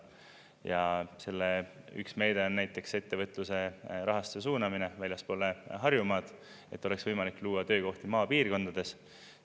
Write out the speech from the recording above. Ja selle üks meede on näiteks ettevõtluse rahastuse suunamine väljaspoole Harjumaad, et oleks võimalik luua töökohti maapiirkondades.